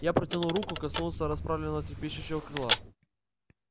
я протянул руку коснулся расправленного трепещущего крыла